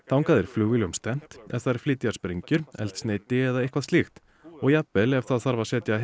þangað er flugvélum stefnt ef þær flytja sprengjur eldsneyti eða eitthvað slíkt og jafnvel ef það þarf að setja